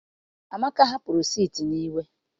amaka hapuru seeti na iwe.